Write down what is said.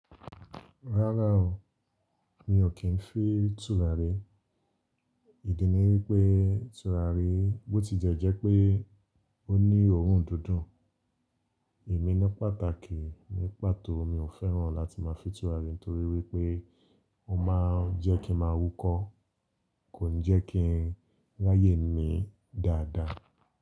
Rárá o, mi ò kí n fi tùràrí. Ìdí ni wípé tùràrí bó ti jẹ́ jẹ́ pé ó ní òórùn dudùn. Emí ni pàtàkì ní pàtó mi ò fẹ́ràn láti máa fi tùràrí nítorí wípé ó ma ń jẹ́ kí mà wukọ́, kò ń jẹ́ kí n ráyè mi dáadáa.